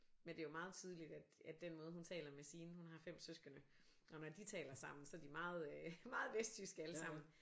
Men det er jo meget tydeligt at at den måde hun taler med sine hun har 5 søskende og når de taler sammen så er de meget øh meget vestjyske alle sammen